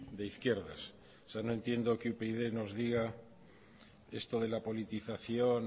de izquierdas o sea no entiendo que upyd nos diga esto de la politización